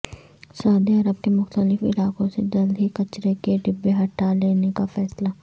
سعودی Arab کے مختلف علاقوں سے جلد ہی کچرے کے ڈبے ہٹالینے کا فیصلہ